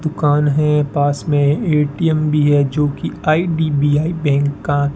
दुकान है पास में ए_टी_एम भी है जो कि आई_डी_बी_आई बैंक का--